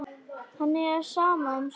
Henni er sama um sögur.